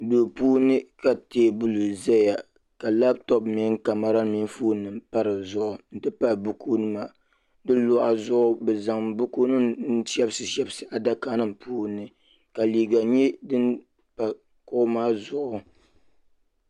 duu puuni ka teebuli ʒɛya ka Labtop mini kamɛra nim mini foon pa dizuɣu n ti pahi buku nima di luɣa zuɣu bi zaŋ buku nim n shɛbisi shɛbisi adaka nim puuni ka liiga nyɛ din pa kuɣu maa zuɣu